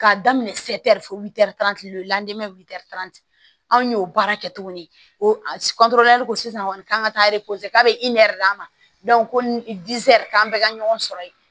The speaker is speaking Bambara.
K'a daminɛ anw y'o baara kɛ tuguni o a ko sisan kɔni k'an ka taa k'a bɛ d'a ma ko ni k'an bɛɛ ka ɲɔgɔn sɔrɔ ye